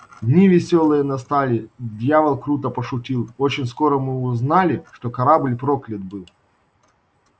дни весёлые настали дьявол круто пошутил очень скоро мы узнали что корабль проклят был